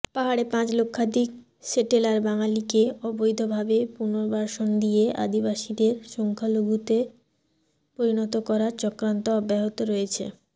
পাহাড়ে পাঁচ লক্ষাধিক সেটেলার বাঙ্গালীকে অবৈধভাবে পূনর্বাসন দিয়ে আদিবাসীদের সংখ্যালঘুতে পরিণত করার চক্রান্ত অব্যাহত রয়েছে